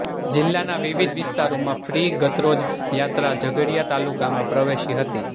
જિલ્લાના વિવિધ વિસ્તારોમાં ફ્રી ગતરોજ યાત્રા ઝઘડિયા તાલુકામાં પ્રવેશી હતી